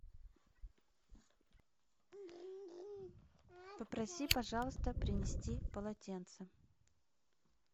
попроси пожалуйста принести полотенце